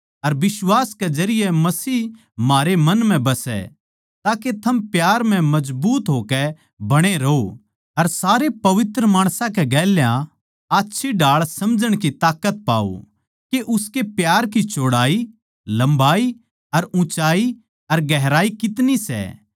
अर बिश्वास कै जरिये मसीह म्हारै मन म्ह बसै ताके थम प्यार म्ह मजबूत होकै बणे रहों अर सारे पवित्र माणसां कै गेल्या आच्छी ढाळ समझण की ताकत पाओ के उसके प्यार की चौड़ाई लम्बाई अर ऊँचाई अर गहराई कितनी सै